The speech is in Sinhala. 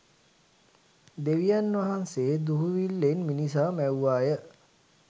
දෙවියන් වහන්සේ දුහුවිල්ලෙන් මිනිසා මැව්වාය